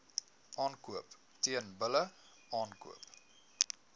aankoop teelbulle aankoop